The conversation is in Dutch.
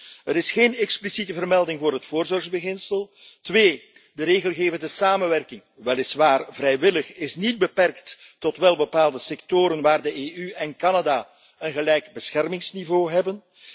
Eén, er is geen expliciete vermelding voor het voorzorgsbeginsel. Twee, de regelgevende samenwerking, die weliswaar vrijwillig is, is niet beperkt tot welbepaalde sectoren waar de EU en Canada een gelijk beschermingsniveau hebben.